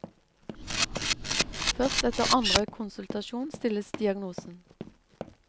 Først etter andre konsultasjon stilles diagnosen.